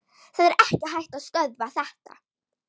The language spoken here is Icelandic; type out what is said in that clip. Það er ekki hægt að stöðva þetta.